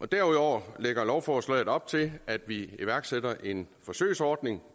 derudover lægger lovforslaget op til at vi iværksætter en forsøgsordning